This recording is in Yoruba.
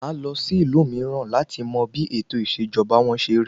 Màá lọ sí ìlú mìíràn láti mọ bí ètò ìṣèjọba wọ́n ṣe rí.